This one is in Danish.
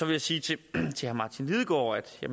jeg sige til herre martin lidegaard at